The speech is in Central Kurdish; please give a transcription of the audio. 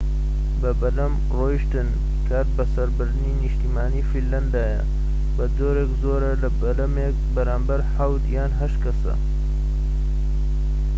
بەبەلەم رۆشتن کاتبەسەربردنی نیشتیمانیی فینلەندایە بەجۆرێك زۆرە بەلەمێك بەرامبەر حەوت یان هەشت کەسە